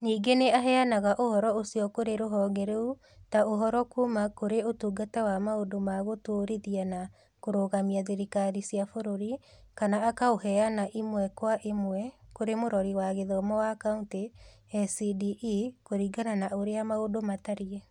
Ningĩ nĩ aheanaga ũhoro ũcio kũrĩ rũhonge rũu ta ũhoro kuuma kũrĩ Ũtungata wa Maũndũ ma Gũtũũrithia na Kũrũgamia Thirikari cia Bũrũri kana akaũheana ĩmwe kwa ĩmwe kũrĩ Mũrori wa Gĩthomo wa Kauntĩ (SCDE) kũringana na ũrĩa maũndũ matariĩ.